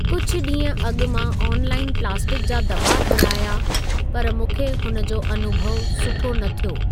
कुछ ॾींहुं अॻु मां ऑनलाइन प्लास्टिक जा दॿा घुराया पर मूंखे हुन जो अनुभउ सुठो न थियो।